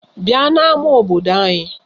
Bịa n'ama obodo anyị!